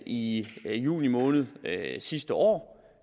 i juni måned sidste år